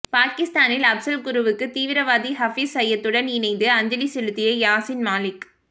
பாகிஸ்தானில் அப்சல் குருவுக்கு தீவிரவாதி ஹபீஸ் சையதுடன் இணைந்து அஞ்சலி செலுத்திய யாசின் மாலிக்